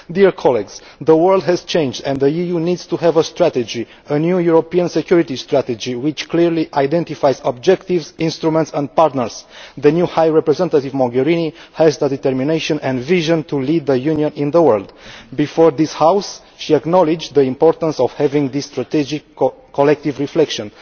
Dear colleagues, the world has changed and the EU needs to have a strategy, a new European Security Strategy which clearly identifies objectives, instruments and partners. The new Vice President High Representative Mogherini has the determination and vision to lead the Union in the world. Before this House she acknowledged the importance of having this strategic, collective reflection.